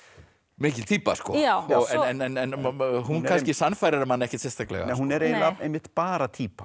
mikil týpa en hún kannski sannfærir mann ekkert sérstaklega hún er eiginlega einmitt bara týpa